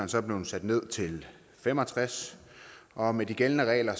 så blevet sat ned til fem og tres og med de gældende regler